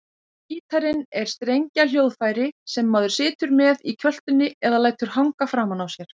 Gítarinn er strengjahljóðfæri sem maður situr með í kjöltunni eða lætur hanga framan á sér.